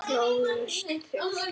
Slógust þið?